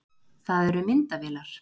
Það eru myndavélar.